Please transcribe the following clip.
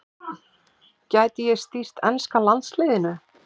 Gæti ég stýrt enska landsliðinu?